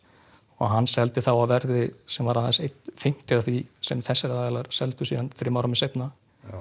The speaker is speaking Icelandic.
og hann seldi þá á verði sem var aðeins einn fimmti af því sem þessir aðilar seldu á þremur árum seinna